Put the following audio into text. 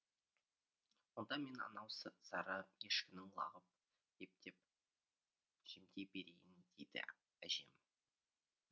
онда мен анау сары ешкінің лағын ептеп жемдей берейін дейді әжем